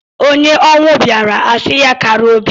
Onye ọnwụ bịaara a sị ya kara obi.